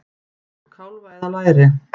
Úr kálfa eða læri!